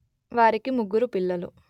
వారికి ముగ్గురు పిల్లలు